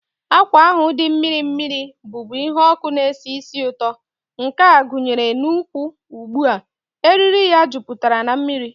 Akwa ahụ dị mmiri mmiri, bụ́bu ihe ọkụ na-esi ísì ụtọ, nke a kwụnyere n'ụkwwụ ugbu a, eriri ya jupụtara na mmiri.